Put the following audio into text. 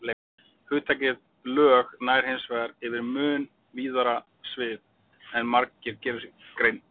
Hugtakið lög nær hins vegar yfir mun víðara svið en margir gera sér grein fyrir.